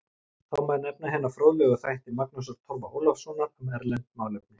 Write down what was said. Þá má nefna hina fróðlegu þætti Magnúsar Torfa Ólafssonar um erlend málefni